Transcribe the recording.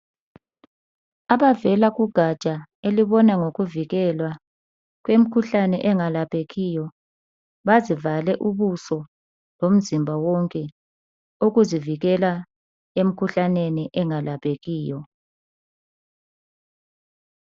Abavela kugaja elibona ngokuvikelwa kwemikhuhlane engalaphekiyo bazivale ubuso lomzimba wonke ukuzivikela emkhuhlaneni engalaphekiyo.